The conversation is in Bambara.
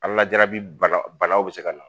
Ala lajarabi banaw bɛ se ka na.